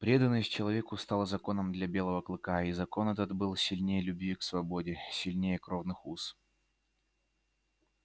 преданность человеку стала законом для белого клыка и закон этот был сильнее любви к свободе сильнее кровных уз